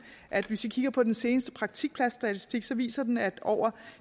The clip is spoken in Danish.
at hvis vi kigger på den seneste praktikpladsstatistik så viser den at over